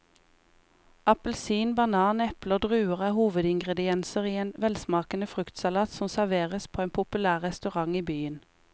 Appelsin, banan, eple og druer er hovedingredienser i en velsmakende fruktsalat som serveres på en populær restaurant i byen.